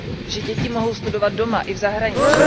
Že děti mohou studovat doma i v zahraničí.